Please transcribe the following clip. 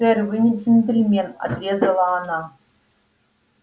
сэр вы не джентльмен отрезала она